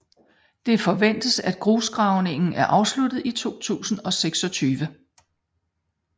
Det forventes at grusgravningen er afsluttet i 2026